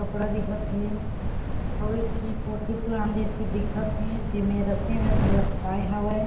कपड़ा दिखत हे अउ एक ठी पोथी पुराण जईसी दिखत हे जिमे रस्सी में लपटाए हावय।